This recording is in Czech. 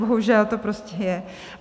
Bohužel to prostě je.